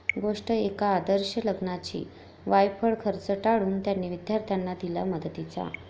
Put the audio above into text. गोष्ट एका आदर्श लग्नाची! वायफळ खर्च टाळून 'त्यांनी' विद्यार्थ्यांना दिला मदतीचा